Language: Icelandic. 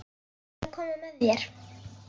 Ég ætla að koma með þér!